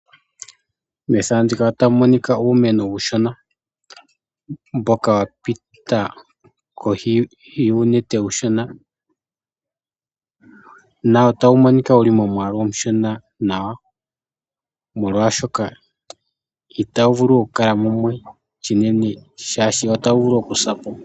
Methano ndika otamu monika uumeno uushona mboka wapita koshi yuunete uushona Na otawu monika wuli momwaalu omushona nawa molwaashoka itawu vulu okukala mumwe shinene shaashi otawu vulu okusa po.